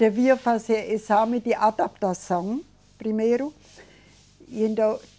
Devia fazer exame de adaptação, primeiro.